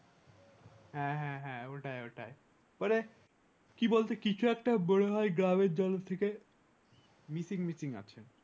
হ্যাঁ ওটাই ওটাই ওরে কি বলছে কিছু একটা মনে হয় গ্রামের থেকে মিটি মিটি হাসে